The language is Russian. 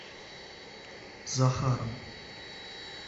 захаром